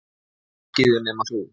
Allir á skíðum nema þú.